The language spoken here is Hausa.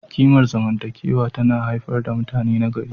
Kimar zamantakewa tana haifar da mutane nagari.